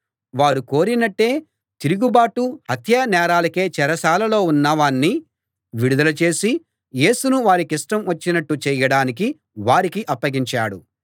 వారు కోరినట్టే తిరుగుబాటు హత్యానేరాలకై చెరసాలలో ఉన్నవాణ్ణి విడుదల చేసి యేసును వారికిష్టం వచ్చినట్టు చేయడానికి వారికి అప్పగించాడు